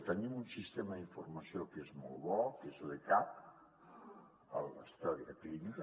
tenim un sistema d’informació que és molt bo que és l’ecap la història clínica